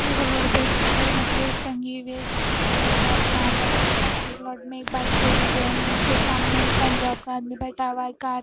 एक रोड पे छे बकेट टंगे हुए है जिसके उपर लिखा है sand and khaki plot made by Terry Ben उसके सामने एक पंजाब का आदमी बैठा हुआ है का--